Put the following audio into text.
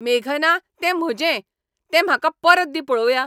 मेघना, तें म्हजें, तें म्हाका परत दी पळोवया!